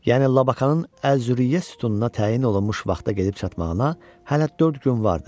Yəni Lakanın Əz-Züriyyə sütununa təyin olunmuş vaxta gedib çatmağına hələ dörd gün vardı.